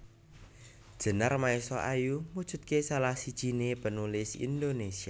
Djenar Maesa Ayu mujudake salah sijiné penulis Indonesia